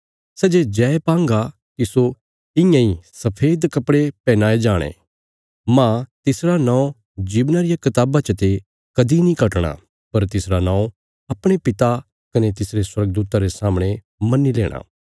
सै जे जय पांगा तिस्सो इयां इ सफेद कपड़े पहनाये जाणे मांह तिसरा नौं जीवना रिया कताबा चते कदीं नीं कटणा पर तिसरा नौं अपणे पिता कने तिसरे स्वर्गदूतां रे सामणे मन्नी लेणा